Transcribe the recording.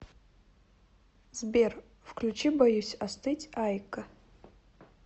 сбер включи боюсь остыть айко